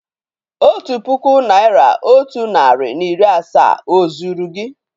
Otu puku naị́ra otu narị na iri asaa ó zúru gị?